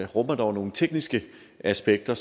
rummer dog nogle tekniske aspekter